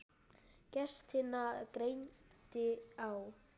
Gestina greindi á.